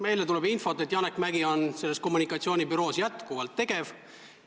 Meile tuleb infot, et Janek Mäggi on selles kommunikatsioonibüroos jätkuvalt tegev.